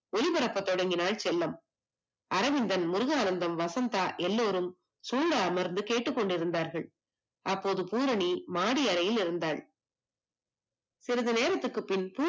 ஒளிபரப்பத் தொடங்கினால் செல்லம். அரவிந்தன், முருகானந்தம், வசந்தா எல்லோரும் அமர்ந்து கேட்டுக்கொண்டிருந்தார்கள், அப்போது பூரணி மாடியில் இருந்தால். சிறுது நேரத்துக்கு பின்